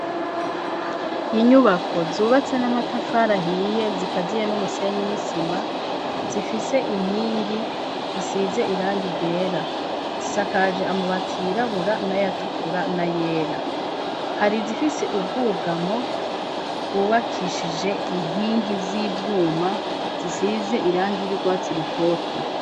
Inyubako zubatse n'amatafarahiye zikaziye n'umusenyi n'isima, zifise inkingi risize irangi ryera, zisakaje amabati yirabura n'ayatukura n'ayera, hari zifise ubwugamo bwubakishije inkingi z'ivyuma zisize irangi y'urwatsi rutoto.